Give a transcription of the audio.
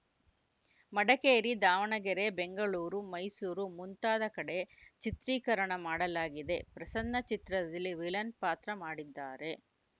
ಮಡಕೇರಿ ದಾವಣಗೆರೆ ಬೆಂಗಳೂರು ಮೈಸೂರು ಮುಂತಾದ ಕಡೆ ಚಿತ್ರೀಕರಣ ಮಾಡಲಾಗಿದೆ ಪ್ರಸನ್ನ ಚಿತ್ರದಲ್ಲಿ ವಿಲನ್‌ ಪಾತ್ರ ಮಾಡಿದ್ದಾರೆ